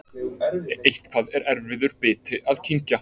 Eitthvað er erfiður biti að kyngja